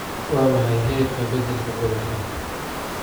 Waa maxay heerka beddelka gobolkan?